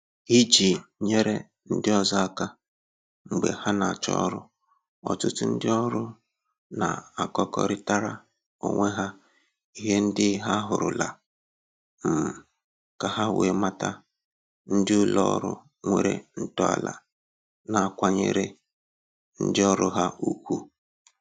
Iji nyere ndị ọzọ aka mgbe ha na-achọ ọrụ, ọtụtụ ndị ọrụ na-akọkarịtara onwe ha ihe ndị ha hụrụla, um ka ha wee mata ndị ụlọ ọrụ nwere ntọala na-akwanyere ndị ọrụ ha ugwu